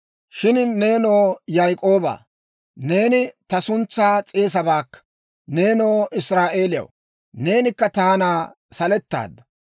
«Shin nenoo Yaak'ooba, neeni ta suntsaa s'eesaabaakka; nenoo Israa'eeliyaw, neenikka taana salettaadda.